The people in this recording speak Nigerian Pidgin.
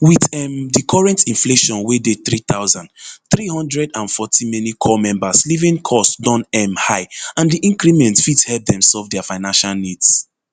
wit um di current inflation wey dey three thousand, three hundred and forty many corps members living cost don um high and di increment fit help dem solve dia financial needs